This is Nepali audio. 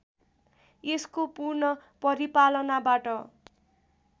यसको पूर्ण परिपालनाबाट